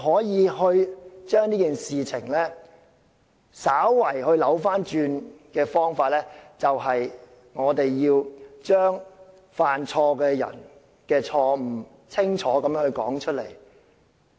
要將事情稍為扭轉，只有一個方法，就是要清楚地把犯錯的人的錯誤說出來。